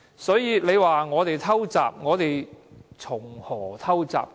所以，你說我們"偷襲"，我們如何"偷襲"？